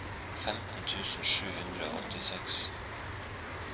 femten tusen sju hundre og åttiseks